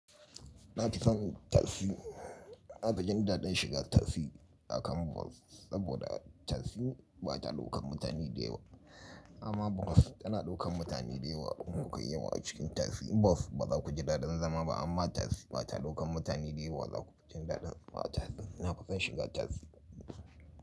Na fi son taksi. Na fi jin daɗin shiga taksi a kan bas saboda taksi ba ta ɗaukan mutane da yawa amma bas tana ɗaukan mutane da yawa. In kuyi yawa a cikin taksi, in basu ba zaku ji daɗin zama ba amma taksi ba ta ɗaukan mutane da yawa, za ku ji daɗin hawa taksi. Na fi son shiga taksi.